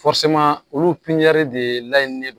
olu de laɲini ne don